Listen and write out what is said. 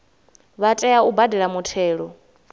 vha tea u badela muthelo